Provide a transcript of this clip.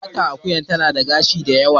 Fatar Akuya tana da gasi da yawa